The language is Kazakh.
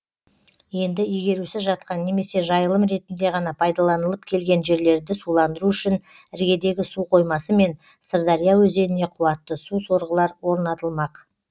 енді игерусіз жатқан немесе жайылым ретінде ғана пайдаланылып келген жерлерді суландыру үшін іргедегі су қоймасы мен сырдария өзеніне қуатты су сорғылар орнатылмақ